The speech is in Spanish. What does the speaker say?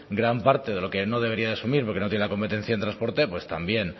gran parte de lo que no debería de asumir porque no tiene la competencia en transporte pues también